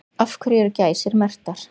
Af hverju eru gæsir merktar?